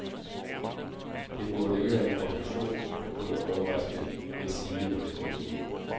Det burde ikke være en konklusion, der kunne overraske, endsige ryste, nogen.